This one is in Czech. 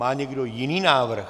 Má někdo jiný návrh?